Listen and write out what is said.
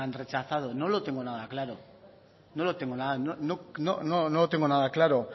rechazado no lo tengo nada claro no lo tengo nada claro